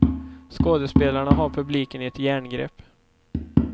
Skådespelarna har publiken i ett järngrepp.